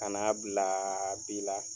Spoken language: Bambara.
Ka n'a bila bi la